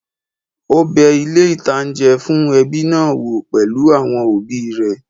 Ó bẹ ilé-ìtánjẹ fún ẹbí náà wò pẹ̀lú àwọn òbí rẹ̀